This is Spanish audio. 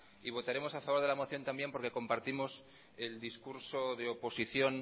y votaremos a favor de la moción también porque compartimos el discurso de oposición